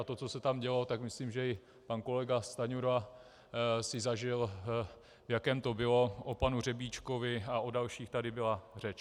A to, co se tam dělo, tak myslím, že i pan kolega Stanjura si zažil, v jakém to bylo, o panu Řebíčkovi a o dalších tady byla řeč.